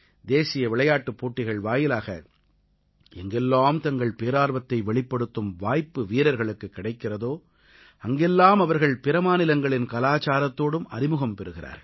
தேசிய விளையாட்டுப் போட்டிகள் வாயிலாக எங்கெல்லாம் தங்கள் பேரார்வத்தை வெளிப்படுத்தும் வாய்ப்பு வீரர்களுக்குக் கிடைக்கிறதோ அங்கெல்லாம் அவர்கள் பிற மாநிலங்களின் கலாச்சாரத்தோடும் அறிமுகம் பெறுகிறார்கள்